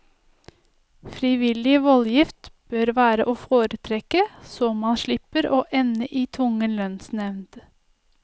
Frivillig voldgift bør være å foretrekke, så man slipper å ende i tvungen lønnsnevnd.